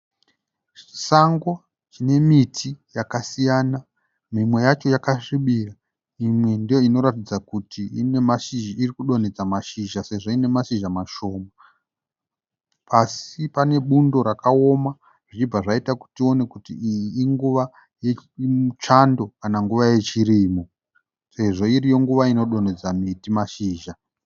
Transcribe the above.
Sango rine miti yakasiyana. Mimwe yacho yakasvibira. Imwe ndoinoratidza kuti irikudonhedza mashizha Sezvo ine mashizha mashoma. Pasi pane bundo rakaoma zvichibva zvaita kuti tione kuti iyi nguva yechando kana nguva yechirimo. Sezvo iriyo nguva inodonhedza miti mashizha .